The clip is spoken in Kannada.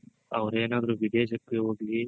ಅವ್ರೆನಾದ್ರೂ ವಿದೇಶಕ್ಕೆ ಹೋಗಿ